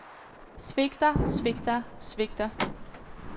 svigter svigter svigter